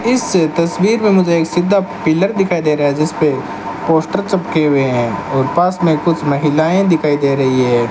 इस तस्वीर में मुझे एक सीधा पिलर दिखाई दे रहा है जिसपे पोस्टर चिपके हुए हैं और पास में कुछ महिलाएं दिखाई दे रही हैं।